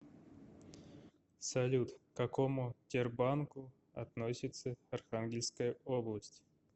салют к какому тербанку относится архангельская область